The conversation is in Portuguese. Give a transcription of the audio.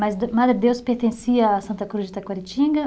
Mas Madredeus pertencia a Santa Cruz de Taquaritinga?